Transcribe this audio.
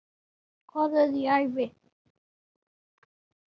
Hvað er í ævi?